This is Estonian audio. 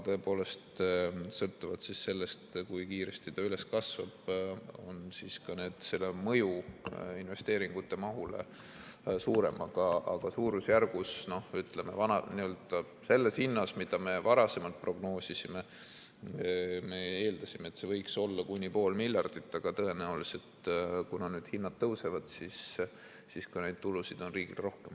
Sõltuvalt sellest, kui kiiresti hind kasvab, on ka selle mõju investeeringute mahule suurem, aga suurusjärgus, ütleme, selles hinnas, mida me varasemalt prognoosisime, me eeldasime, et see võiks olla kuni pool miljardit, aga tõenäoliselt, kuna need hinnad tõusevad, siis ka neid tulusid on riigil rohkem.